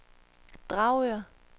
Dragør